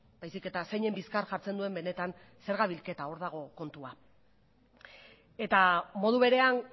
baizik eta zeinen bizkar jartzen duen benetan zerga bilketa hor dago kontua eta modu berean